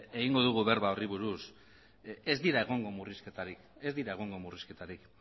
egingo dugu berba horri buruz ez dira egongo murrizketarik